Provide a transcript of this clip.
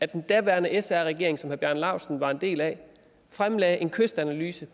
den daværende sr regering som herre bjarne laustsen var en del af fremlagde i en kystanalyse